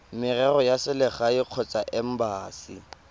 merero ya selegae kgotsa embasi